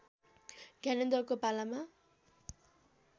ज्ञानेन्द्रको पालामा